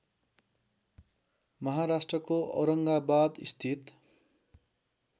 महाराष्ट्रको औरङ्गाबाद स्थित